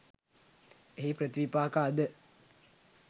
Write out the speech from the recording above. එහි ප්‍රතිවිපාක අද